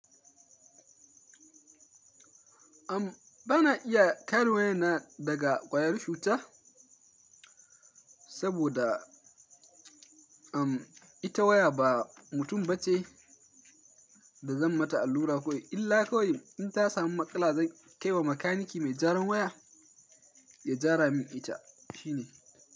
Am bana iya kare waya na daga ƙwayar cuta, saboda am ita waya ba mutum ba ce da zan mata allura kawai, illa kawai in ta samu matsala zan kai wa makaniki mai jaran waya ya jara min ita shine.